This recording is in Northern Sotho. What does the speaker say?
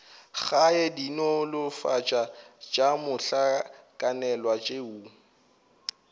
gae dinolofatši tša mohlakanelwa tšeo